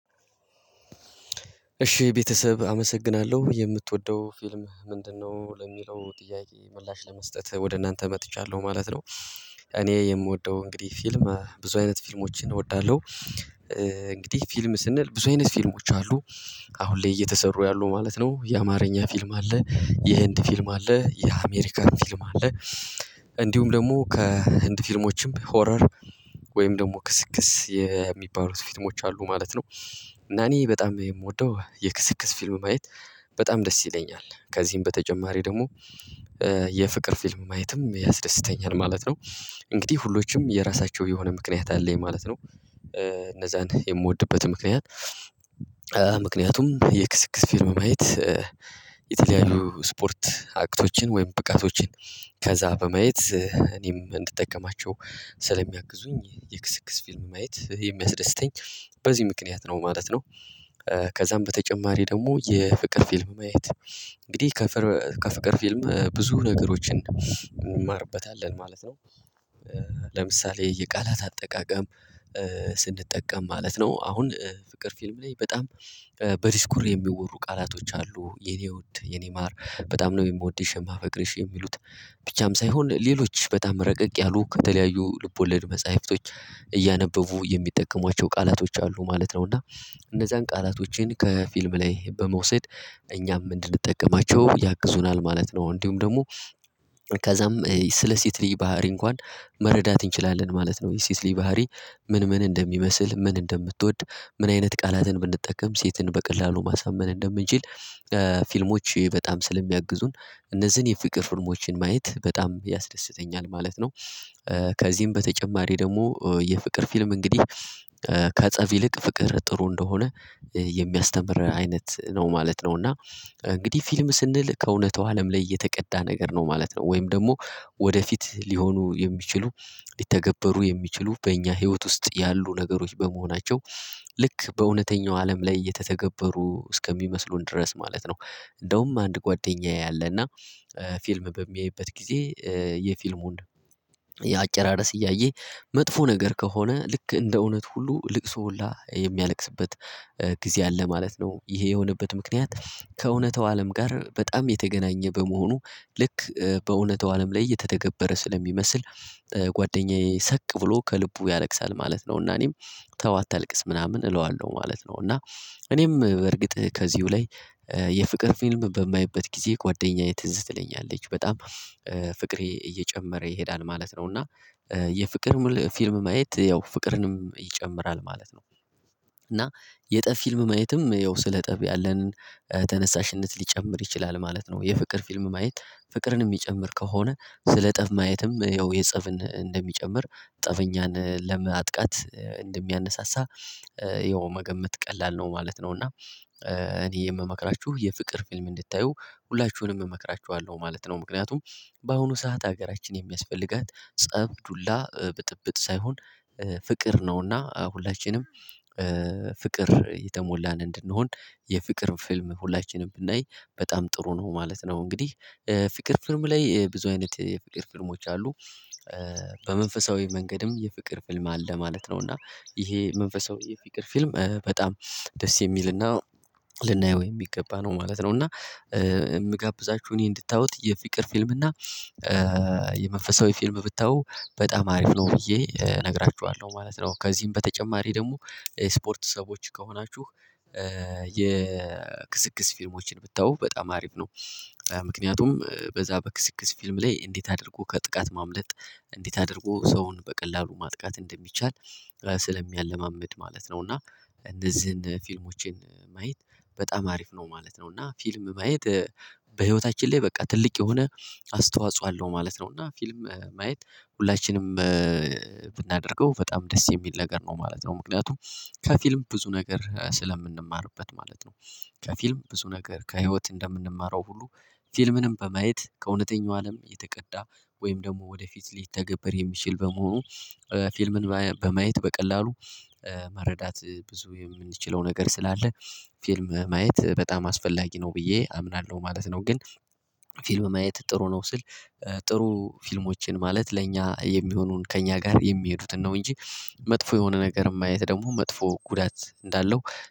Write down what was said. እሺ ቤተሰብ አመሰግናለሁ የምትወደው ፊልም ምንድነው? ለሚለው ጥያቄ ምላሽ ለመስጠት ወደ እናንተ መጥቻለሁ ማለት ነው። እኔ የምወደው እንግዲህ ፊልም ብዙ አይነት ፊልሞችን እወዳለሁ። እንግዲህ ፊልም ስንል ብዙ አይነት ፊልሞች አሉ። አሁን ላይ እየተሰሩ ያሉ ማለት ነው የአማርኛ ፊልም አለ የህንድ ፊልም አለ የአሜሪካን ፊልም አለ። እንዲሁም ደግሞ ከህንድ ፊልሞችም ሆረር ወይም ደግሞ ክስክስ የሚባሉት ፊልሞች አሉ ማለት ነው። እና እኔ በጣም የምወደው የክስክስ ፊልም ማየት በጣም ደስ ይለኛል ከዚህም በተጨማሪ ደግሞ የፍቅር ፊልም ማየትም ያስደስተኛል ማለት ነው። እንግዲህ ሁሎችም የራሳቸው የሆነ ምክንያት አለኝ ማለት ነው እነዛን የምወድበት ምክንያት። ምክንያቱም የክስክስ ፊልም ማየት የተለያዩ ስፖርት አክቶችን ወይም ብቃቶችን ከዛ በመየት እኔም እንድጠቀማቸው ስለሚያግዙኝ የክስክስ ፊልም ማየት የሚያስደስተኝ በዚህ ምክንያት ነው ማለት ነው። ከዛም በተጨማሪ ደግሞ የፍቅር ፊልም ማየት እንግዲህ ከፍቅር ፊልም ብዙ ነገሮችን እንማርበታለን ማለት ነው። ለምሳሌ የቃላት አጠቃቀም ስንጠቀም ማለት ነው አሁን ፍቅር ፊልም ላይ በጣም በዲስኩር የሚወሩ ቃላቶች አሉ የኔ ውድ የኔ ማር በጣም ነው የምወድሽ የማፈቅርሽ የሚሉት ብቻም ሳይሆን ሌሎች በጣም ረቀቅ ያሉ ከተለያዩ ልቦለድ መጽሐፍቶች እያነበቡ የሚጠቀሟቸው ቃላቶች አሉ ማለት ነው። እና እነዛን ቃላቶችን ከፊልም ላይ በመውሰድ እኛም እንድንጠቀማቸው ያግዙናል ማለት ነው። እንዲሁም ደግሞ ከዛም ስለ ሴት ልጅ ባህሪ እንኳን መረዳት እንችላለን ማለት ነው። የሴት ልጅ ባህሪ ምን ምን እንደሚመስል ምን እንደምትወድ ምን አይነት ቃላትን ብንጠቀም ሴትን በቀላሉ ማሳመን እንደምንችል ፊልሞች በጣም ስለሚያግዙን እነዚህን የፊቅር ፊልሞችን ማየት በጣም ያስደስተኛል ማለት ነው። ከዚህም በተጨማሪ ደግሞ የፍቅር ፊልም እንግዲህ ከፀብ ይልቅ ፍቅር ጥሩ እንደሆነ የሚያስተምር አይነት ነው ማለት ነው። እና እንግዲህ ፊልም ስንል ከእውነታው አለም ላይ የተቀዳ ነገር ነው ማለት ነው ወይም ደግሞ ወደፊት ሊሆኑ የሚችሉ ሊተገበሩ የሚችሉ በእኛ ህይወት ውስጥ ያሉ ነገሮች በመሆናቸው ልክ በእውነተኛው አለም ላይ የተተገበሩ እስከሚመስሉን ድረስ ማለት ነው። እንደውም አንድ ጓደኛዬ አለ እና ፊልም በሚያይበት ጊዜ የፊልሙን የአጨራረስ እያየ መጥፎ ነገር ከሆነ ልክ እንደ እውነት ሁሉ ልቅሶ ሁላ የሚያለቅስበት ጊዜ አለ ማለት ነው ይሄ የሆነበት ምክንያት ከእውነታው አለም ጋር በጣም የተገናኘ በመሆኑ ልክ በእውነታው አለም ላይ እየተተገበረ ስለሚመስል ጓደኛዬ ሰቅ ብሎ ከልቡ ያለቅሳል ማለት ነው። እና እኔም ተው አታልቅስ ምናምን እለዋለሁ ማለት ነው። እና እኔም በእርግጥ ከዚሁ ላይ የፍቅር ፊልም በማየበት ጊዜ ጓደኛዬ ትዝ ትለኛለች በጣም ፍቅሬ እየጨመረ ይሄዳል ማለት ነው እና የፍቅር ሙሉ ፊልም ማየት ያው ፍቅርንም ይጨምራል ማለት ነው። እና የጠብ ፊልም ማየትም ያው ስለ ጠብ ያለንን ተነሳሽነት ሊጨምር ይችላል ማለት ነው የፍቅር ፊልም ማየት ፍቅርን የሚጨምር ከሆነ ስለ ጠብ ማየትም ያው የጸብን እንደሚጨምር ጠበኛን ለመጥቃት እንደሚያነሳሳ ያው መገመት ቀላል ነው ማለት ነው። እና እኔ የምመክራችሁ የፍቅር ፊልም እንድታዩ ሁላችሁንም እመክራችኋለሁ ማለት ነው ምክንያቱም በአሁኑ ሰዓት ሀገራችን የሚያስፈልጋት ፀብ ዱላ ብጥብጥ ሳይሆን ፍቅር ነው እና ሁላችንም ፍቅር የተሞላን እንድንሆን የፍቅር ፊልም ሁላችንም ብናይ በጣም ጥሩ ነው ማለት ነው። እንግዲህ ፍቅር ፊልም ላይ ብዙ አይነት የፍቅር ፊልሞች አሉ። በመንፈሳዊ መንገድም የፍቅር ፊልም አለ ማለት ነው እና ይሄ መንፈሳዊ የፍቅር ፊልም በጣም ደስ የሚል እና ልናየው የሚገባ ነው ማለት ነው። እና የምጋብዛችሁ እኔ እንድታዩት የፍቅር ፊልም እና የመንፈሳዊ ፊልም ብታዩ በጣም አሪፍ ነው ብዬ እነግራችኋለሁ ማለት ነው። ከዚህም በተጨማሪ ደግሞ ስፖርት ሰዎች ከሆናችሁ የ የክስክስ ፊልሞችን ብታዩ በጣም አሪፍ ነው። ምክንያቱም በዛ በክስክስ ፊልም ላይ እንዴት አድርጎ ከጥቃት ማምለጥ እንዴት አድርጎ ሰውን በቀላሉ ማጥቃት እንደሚቻል ስለሚያለማምድ ማለት ነው እና እነዚህን ፊልሞችን ማየት በጣም አሪፍ ነው ማለት ነው። እና ፊልም ማየት በህይወታችን ላይ በቃ ትልቅ የሆነ አስተዋጽኦ አለው ማለት ነው። እና ፊልም ማየት ሁላችንም ብናደርገው በጣም ደስ የሚል ነገር ነው ማለት ነው። ምክንያቱም ከፊልም ብዙ ነገር ስለምንማርበት ማለት ነው። ከፊልም ብዙ ነገር ከህይወት እንደምንማረው ሁሉ ፊልምንም በማየት ከእውነተኛው አለም የተቀዳ ወይም ደግሞ ወደፊት ሊተገበር የሚችል በመሆኑ ፊልምን በማየት በቀላሉ መረዳት ብዙ የምንችለው ነገር ስላለ ፊልም ማየት በጣም አስፈላጊ ነው ብዬ አምናለሁ ማለት ነው። ግን ፊልም ማየት ጥሩ ነው ስል ጥሩ ፊልሞችን ማለት ለእኛ የሚሆኑን ከእኛ ጋር የሚሄዱትን ነው እንጂ መጥፎ የሆነ ነገር ማየት ደግሞ መጥፎ ጉዳት እንዳለው